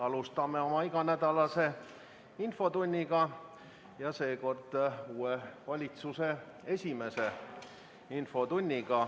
Alustame oma iganädalast infotundi, ja seekord siis uue valitsuse esimest infotundi.